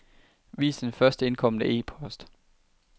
Vis den først indkomne e-post.